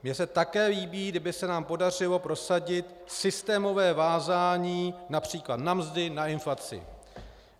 Mně se také líbí, kdyby se nám podařilo prosadit systémové vázání například na mzdy, na inflaci.